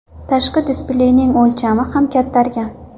Tashqi displeyning o‘lchami ham kattargan.